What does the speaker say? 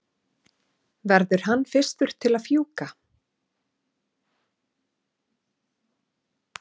verður hann fyrstur til að fjúka?